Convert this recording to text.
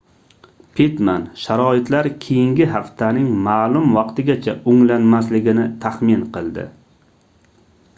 pittman sharoitlar keyingi haftaning maʼlum vaqtigacha oʻnglanmasligini taxmin qildi